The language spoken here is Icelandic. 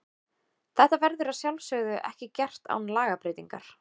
Þetta verður að sjálfsögðu ekki gert án lagabreytingar.